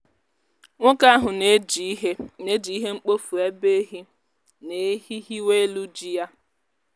nwoke ahụ na-eji ihe na-eji ihe mkpofu ebe ehi na-ehi hiwe elu ji ya.